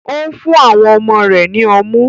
Ó ń fún ọmọ rẹ̀ ní ọmú.